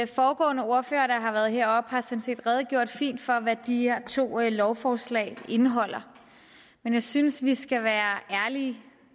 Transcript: foregående ordførere der har været heroppe har sådan set redegjort fint for hvad de her to lovforslag indeholder men jeg synes vi skal være ærlige